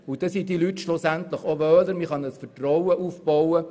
So fühlen sich die Leute besser und es lässt sich Vertrauen aufbauen.